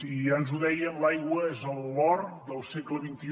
i ja ens ho deien l’aigua és el l’or del segle xxi